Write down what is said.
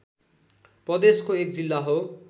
प्रदेशको एक जिल्ला हो